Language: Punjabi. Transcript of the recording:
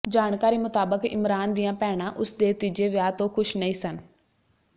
ਜਾਣਕਾਰੀ ਮੁਤਾਬਕ ਇਮਰਾਨ ਦੀਆਂ ਭੈਣਾਂ ਉਸ ਦੇ ਤੀਜੇ ਵਿਆਹ ਤੋਂ ਖ਼ੁਸ਼ ਨਹੀਂ ਸਨ